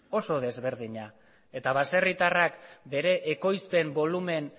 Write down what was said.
eta baserritarrak bere